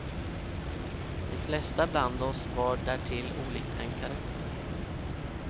De flesta bland oss var därtill oliktänkare.